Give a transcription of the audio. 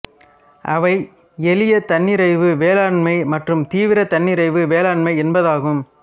அவை எளிய தன்னிறைவு வேளாண்மை மற்றும் தீவிர தன்னிறைவு வேளாண்மை என்பதாகும்